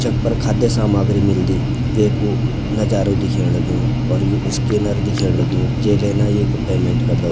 जख पर खाद्य सामाग्री मिलदी वेकु नजारु दिखेंण लग्युं और यु स्कैनर दिखेंण लग्युं जेलेना येक पेमेंट करदो।